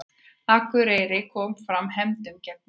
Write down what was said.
Akureyri kom fram hefndum gegn Val